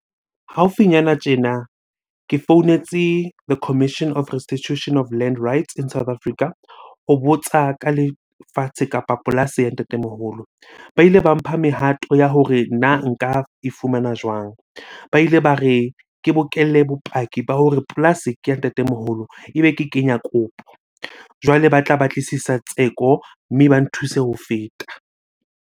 Haufinyana tjena ke founetse the Commission on Restitution of Land Rights in South Africa. Ho botsa ka lefatshe kapa polasi ya ntatemoholo. Ba ile ba mpha mehato ya hore nna nka e fumana jwang? Ba ile ba re ke bokelle bopaki ba hore polasi ke ya ntatemoholo, ebe ke kenya kopo. Jwale ba tla batlisisa tseko, mme ba nthuse ho feta.